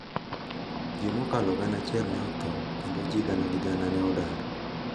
Ji mokalo gana achiel ne otho, kendo ji gana gi gana ne odar.